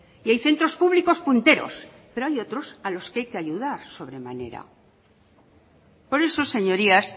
y hay centros públicos punteros pero hay otros a los que hay que ayudar sobremanera por eso señorías